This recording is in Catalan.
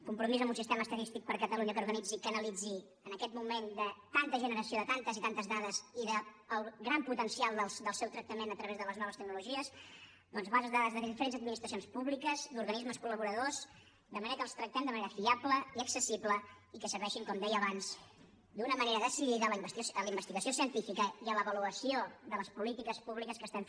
compromís amb un sistema estadístic per a catalunya que organitzi i que analitzi en aquest moment de tanta generació de tantes i tantes dades i del gran potencial del seu tractament a través de les noves tecnologies bases de dades de diferents administracions públiques i organismes col·laboradors de manera que les tractem de manera fiable i accessible i que serveixin com deia abans d’una manera decidida a la investigació científica i a l’avaluació de les polítiques públiques que fem